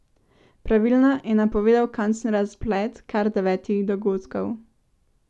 Pravilno je napovedal končni razplet kar devetih dogodkov.